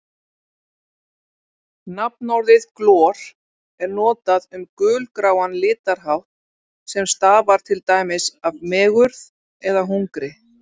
Nafnorðið glor er notað um gulgráan litarhátt sem stafar til dæmis af megurð eða hungri.